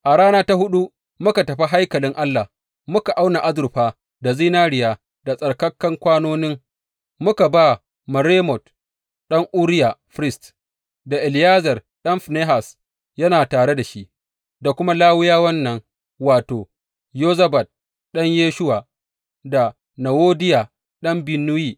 A rana ta huɗu muka tafi haikalin Allah, muka auna azurfa, da zinariya, da tsarkakan kwanonin, muka ba Meremot ɗan Uriya firist, da Eleyazar ɗan Finehas yana tare da shi, da kuma Lawiyawan nan, wato, Yozabad ɗan Yeshuwa, da Nowadiya ɗan Binnuyi.